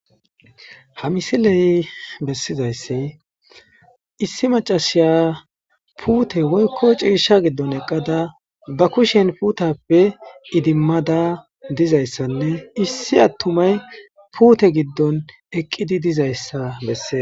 Ha misiley bessizayssi issi macasiya puute woykko ciisha giddon eqqada ba kushen puutappe idimmada dizayssanne issi attumay puute giddon eqqidi dizayssa bessees.